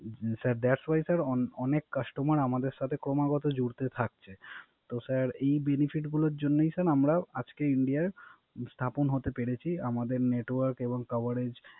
Sir thats why sir অনেক Customer আমাদের সাথে ক্রমাগত যুক্তে থাকছে। তো Sir এই Benefit গুলোর জন্যই Sir আমরা আজকে ইন্ডিয়ায় স্থাপন হতে পেরেছি। আমাদের Network এবং Coverage